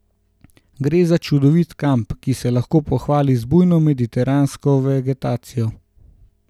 Gre za čudovit kamp, ki se lahko pohvali z bujno mediteransko vegetacijo.